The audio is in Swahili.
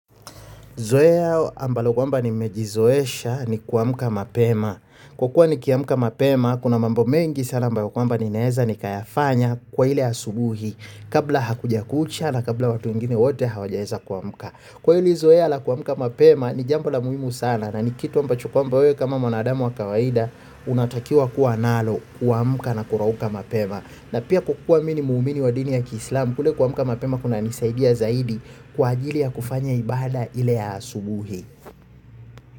Zoezo ambalo kwamba nimejizoesha ni kuamka mapema. Kwa kuwa nikiamka mapema, kuna mambo mengi sana ambayo kwamba nininaeza nikayafanya kwa ile asubuhi kabla hakuja kucha na kabla watu wengine wote hawajaeza kuamka. Kwa hili zoea la kuamka mapema ni jambo la muhimu sana na ni kitu ambacho kwamba wewe kama mwanadamu wa kawaida unatakiwa kuwa nalo. Kuamka na kurauka mapema. Na pia kukuwa mimi ni muumini wa dini ya kislamu kule kuamka mapema kuna nisaidia zaidi kwa ajili ya kufanya ibada ile ya asubuhi.